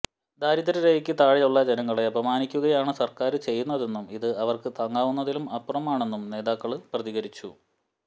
ദാരിദ്ര രേഖക്ക് താഴെയുളള ജനങ്ങളെ അപമാനിക്കുകയാണ് സര്ക്കാര് ചെയ്യുന്നതെന്നും ഇത് അവര്ക്ക് താങ്ങാവുന്നതിലും അപ്പുറമാണെന്നും നേതാകേകള് പ്രതികരിച്ചു